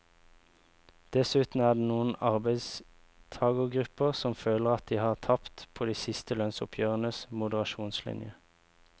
Dessuten er det noen arbeidstagergrupper som føler at de har tapt på de siste lønnsoppgjørenes moderasjonslinje.